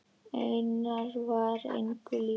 Einar var engum líkur.